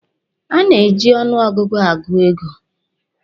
A na-eji ọnụ ọgụgụ agụ ego.